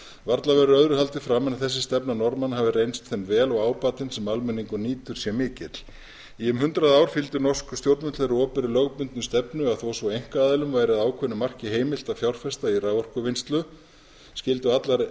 varla verður öðru haldið fram en að þessi stefna norðmanna hafi reynst þeim vel og ábatinn sem almenningur nýtur sé mikill í um hundrað ár fylgdu norsk stjórnvöld þeirri opinberu lögbundnu stefnu að þó svo að einkaaðilum væri að ákveðnu marki heimilt að fjárfesta í raforkuvinnslu skyldu allar